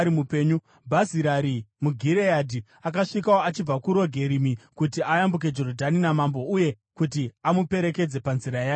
Bhazirai muGireadhi akasvikawo achibva kuRogerimi kuti ayambuke Jorodhani namambo uye kuti amuperekedze panzira yake ikoko.